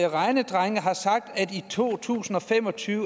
regnedrenge har sagt at i to tusind og fem og tyve